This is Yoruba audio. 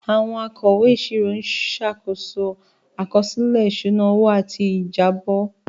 Àwọn akọ̀wé ìṣirò ń ṣàkóso àkọsílẹ̀ ìṣúná owó àti ìjábọ̀.